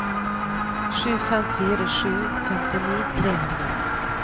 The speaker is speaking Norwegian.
sju fem fire sju femtini tre hundre